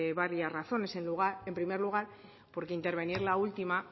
varias razones en primer lugar porque intervenir la última